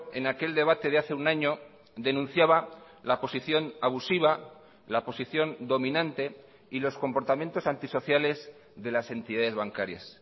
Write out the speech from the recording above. en aquel debate de hace un año denunciaba la posición abusiva la posición dominante y los comportamientos antisociales de las entidades bancarias